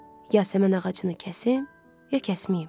Yasəmən ağacını kəsim, ya kəsməyim?